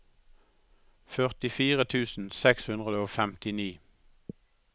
førtifire tusen seks hundre og femtini